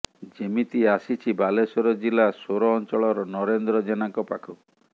ଯେମିତି ଆସିଛି ବାଲେଶ୍ୱର ଜିଲ୍ଲା ସୋର ଅଞ୍ଚଳର ନରେନ୍ଦ୍ର ଜେନାଙ୍କ ପାଖକୁ